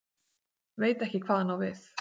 Veit ekki hvað hann á við.